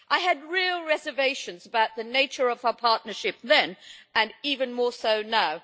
I had real reservations about the nature of our partnership then, and have even more so now.